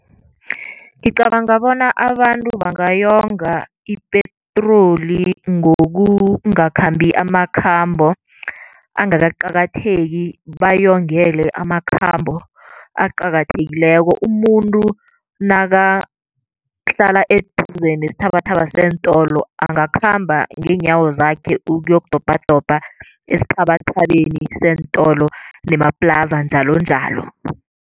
Ngicabanga bona abantu bangayonga ipetroli ngokungakhambi amakhambo angakaqakatheki, bayongele amakhambo aqakathekileko. Umuntu nakahlala eduze nesithabathaba seentolo, angakhamba ngeenyawo zakhe ukuyokudobhadobha esithabathabeni seentolo nemaplaza, njalonjalo.